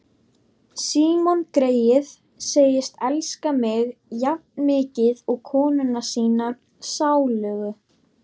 Símon greyið segist elska mig jafnmikið og konuna sína sálugu.